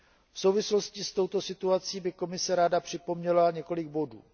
V souvislosti s touto situací by Komise ráda připomněla několik bodů.